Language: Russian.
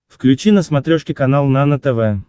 включи на смотрешке канал нано тв